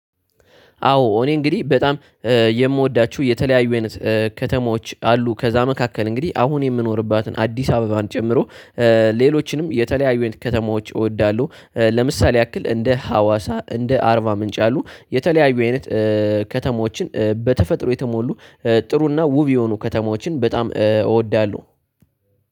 አዎ እኔ እንግዲህ በጣም የምወዳችሁ የተለያዩ አይነት ከተሞች አሉ ከዛ መካከል እንግዲህ አሁን የምኖርባትን አዲስ አበባን ጨምሮ ሌሎችንም የተለያዩ አይነት ከተማዎች እወዳለሁ። ለምሳሌ ያክል እንደ ሀዋሳ እንደ አርባ ምንጭ ያሉ የተለያዩ አይነት ከተሞችን በተፈጥሮ የተሞሉ ጥሩና ውብ የሆኑ ከተማዎችን በጣም እወዳለሁ።